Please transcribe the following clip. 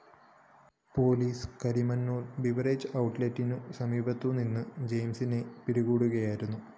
police Karimannoor‍ beverages ഔട്ട്‌ലെറ്റിന് സമീപത്തുനിന്നും ജെയിംസിനെ പിടികൂടുകയായിരുന്നു